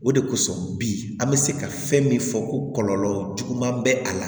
O de kosɔn bi an bɛ se ka fɛn min fɔ ko kɔlɔlɔ jugu ma bɛ a la